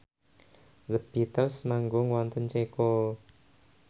The Beatles manggung wonten Ceko